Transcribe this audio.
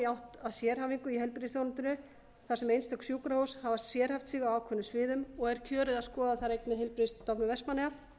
átt að sérhæfingu í heilbrigðisþjónustunni þar sem einstök sjúkrahús hafa sérhæft sig á ákveðnum sviðum og er kjörið að skoða þar einnig heilbrigðisstofnun vestmannaeyja